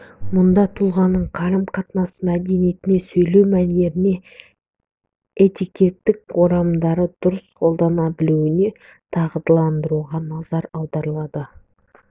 мұнда тұлғаның қарым-қатынас мәдениетіне сөйлеу мәнеріне этикеттік орамдарды дұрыс қолдана білуіне дағдыландыруға назар аударылады